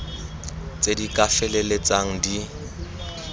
tse di ka feleltsang di